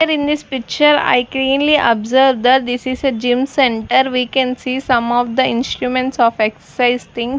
here in this picture I cleanly observe that this is a gym centre we can see some of the instruments of excercise thing.